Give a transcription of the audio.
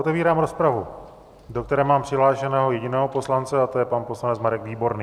Otevírám rozpravu, do které mám přihlášeného jediného poslance, a to je pan poslanec Marek Výborný.